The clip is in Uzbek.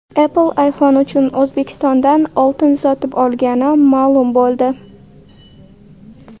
Apple iPhone uchun O‘zbekistondan oltin sotib olgani ma’lum bo‘ldi.